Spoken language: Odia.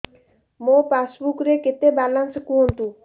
ମୋ ପାସବୁକ୍ ରେ କେତେ ବାଲାନ୍ସ କୁହନ୍ତୁ